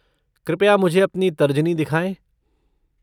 कृपया मुझे अपनी तर्जनी दिखाएं।